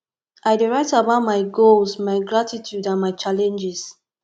i dey write about my goals my gratitude and my challenges